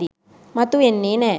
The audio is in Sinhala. මතු වෙන්නේ නැහැ.